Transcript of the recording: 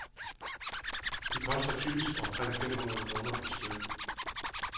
De koster typisk omkring fem hundrede kroner per styk.